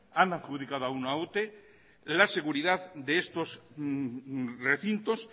han adjudicado a una ute la seguridad de estos recintos